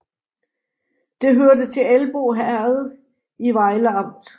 Det hørte til Elbo Herred i Vejle Amt